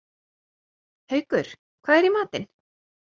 Haukur, hvað er í matinn?